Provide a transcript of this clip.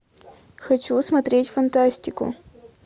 хочу смотреть фантастику